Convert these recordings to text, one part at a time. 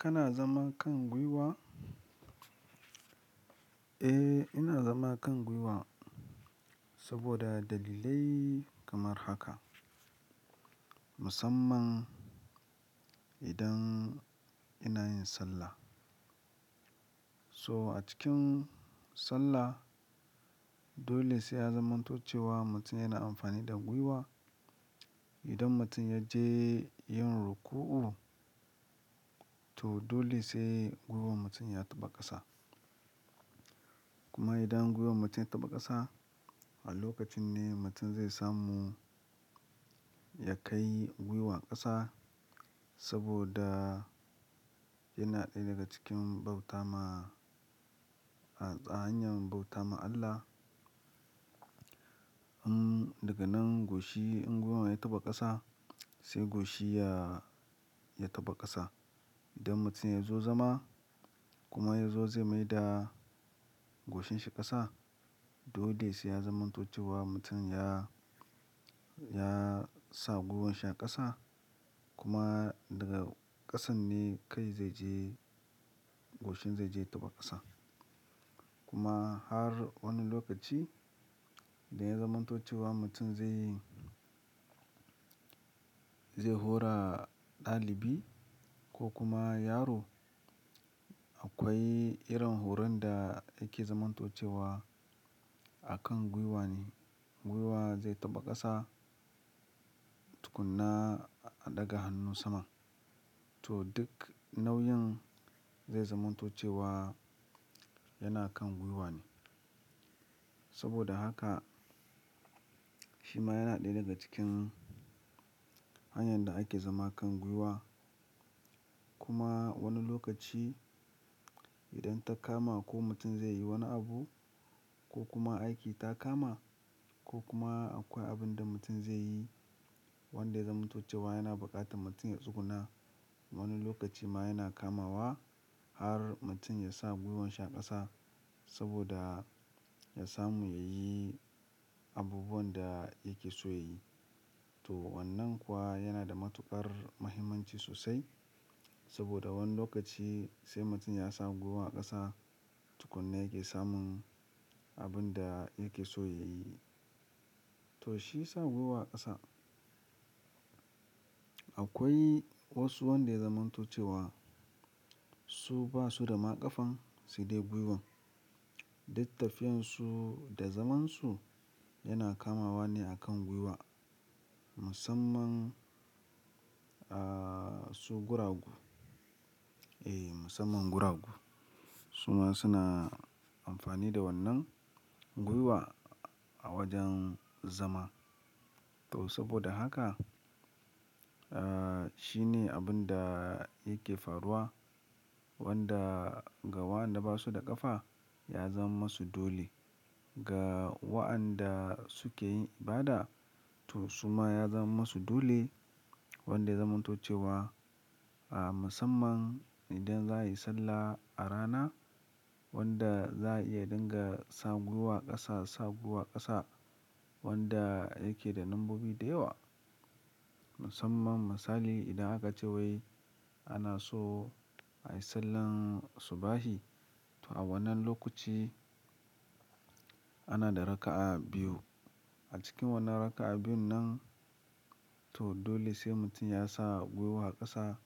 Kana zama kan gwiwa? Eh, ina zama kan gwiwa saboda dalilai kamar haka. Musamman idan ina yin sallah. So acikin sallah dole sai ya zamanto cewa mutum yana amfani da gwiwa. Idan mutum ya je yin ruku'u to dole sai gwiwan mutum ya taɓa ƙasa. Kuma idan gwiwan mutum ya taɓa ƙasa, a lokacin ne mutum zai samu ya kai gwiwan ƙasa saboda yana ɗaya daga cikin bauta ma a hanyan bauta ma Allah. Imm daga nan goshi in gwiwan ya taɓa ƙasa sai goshi ya, ya taɓa ƙasa. Idan mutum ya zo zama kuma ya zo zai maida goshin shi ƙasa dole sai ya zamanto cewa mutum ya, ya sa gwiwan shi a ƙasa. Kuma daga ƙasan ne kai zai je, goshin zai je ya taɓa ƙasa. Kuma har wani lokaci dai ya zamanto cewa mutum zai, zai hura ɗalibi ko kuma yaro. Akwai irin horon da yake zamanto cewa a kan gwiwa ne. Gwiwa zai taɓa ƙasa tukuna a ɗaga hannu sama. To duk nauyin zai zamanto cewa yana kan gwiwa ne. Saboda haka shi ma yana ɗaya daga cikin hanyar da ake zama kan gwiwa. Kuma wani lokaci idan ta kama ko mutum zai yi wani abu ko kuma aiki ta kama ko kuma akwai abin da mutum zai yi wanda ya zamanto cewa yana buƙatan mutum ya tsuguna. Wani lokaci ma yana kamawa har mutum ya sa gwiwan shi a ƙasa saboda ya samu ya yi abubuwan da yake so ya yi. To wannan kuwa yana da matuƙar mahimmanci sosai saboda wani lokaci sai mutum ya sa gwiwa a ƙasa tukunan yake samun abun da yake so ya yi. To shi ya sa gwiwa a ƙasa. Akwai wasu wanda ya zamanto cewa su basu da ma ƙafan su dai gwiwan. Duk tafiyansu da zamansu yana kamawa ne a kan gwiwa. Musamman aaa su guragu. Eh musanman guragu. Su ma suna amfani da wannan gwiwa a wajen zama. To saboda haka aa shi ne abun da yake faruwa wanda ga waɗanda basu da ƙafa ya zaman masu dole. Ga waɗanda suke yin ibada to su ma ya zama masu dole wanda ya zamanto cewa a musanman idan za a yi sallah a rana wanda za a iya ɗinga sa gwiwa ƙasa, sa gwiwa ƙasa wanda yake da lambobi da yawa. Musamman misali idan aka ce wai ana so a yi sallar subahi to a wannan lokaci ana da raka'a biyu. A cikin wannan raka'a biyun nan to dole sai mutum ya sa gwiwa a ƙasa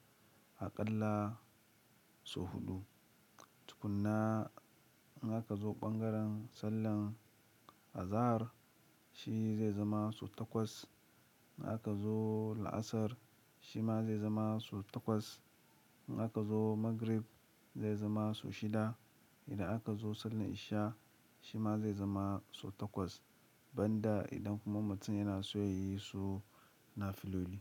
aƙalla sau huɗu. Tukuna in aka zo ɓangaren sallan azahar shi zai zama sau takwas. In aka zo la'asar shi ma zai zama sau takwas. In aka zo magrib zai zama sau shida. Idan aka zo sallar isha shi ma zai zama sau takwas. Banda idan kuma mutum yana so ya yi su nafiloli.